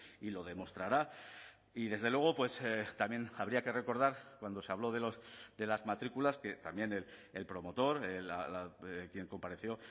y lo demostrará y desde luego también habría que recordar cuando se habló de las matrículas que también el promotor quien compareció